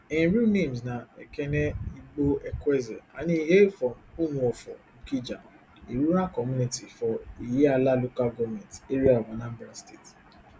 im real names na ekene igboekweze and e hail from umuofo okija a rural community for ihiala local goment area of anambra state